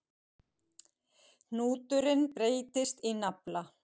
Hnúturinn breytist í nafla.